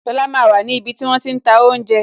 Lola máa wà ní ibi tí wón ti ń ta oúnjẹ